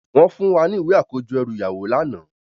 Wòn fún wá ni iwé àkójò èrú iyáwó làná